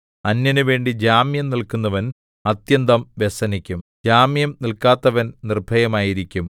അന്യനുവേണ്ടി ജാമ്യം നില്ക്കുന്നവൻ അത്യന്തം വ്യസനിക്കും ജാമ്യം നിൽക്കാത്തവൻ നിർഭയനായിരിക്കും